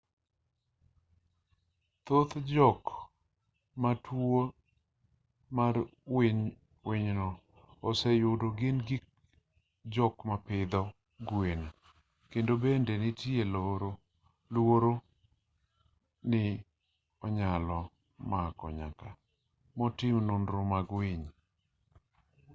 thoth jok ma tuo mar winyno oseyudo gin jok mapidho gwen kendo bende nitier luoro ni onyalo mako nyaka jotim nonro mag winy